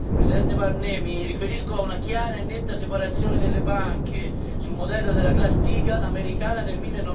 Signor Presidente Barnier, mi riferisco a una chiara e netta separazione delle banche, sul modello della Glass Steagall americana del